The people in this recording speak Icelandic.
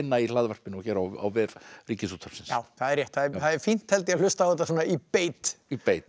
í hlaðvarpinu og hér á vef Ríkisútvarpsins já það er rétt það er fínt held ég að hlusta á þetta svona í beit í beit